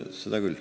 Seda küll.